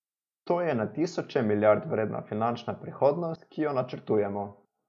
To je na tisoče milijard vredna finančna prihodnost, ki jo načrtujemo.